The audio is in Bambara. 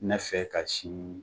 Ne fɛ ka sini